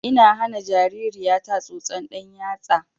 Ina hana jaririya ta tsotson ɗan yatsa